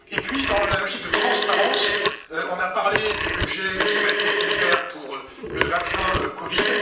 Et puis, dans la logique de transparence, nous avons parlé du budget qui va être nécessaire pour le vaccin COVID.